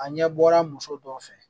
A ɲɛ bɔra muso dɔ fɛ